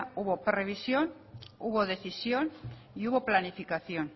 hubo previsión hubo decisión y hubo planificación